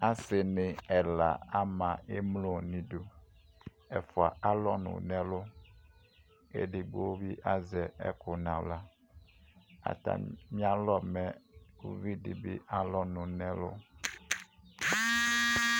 Asiɲi ɛla ama emlo ɲidu Ɛƒua alɔɲʊ ɲɛlʊ Edigbobi azɛ ɛkʊ ɲaɣla Ata mialɔ mɛ ʊvidibi alɔɲʊ ɲɛlu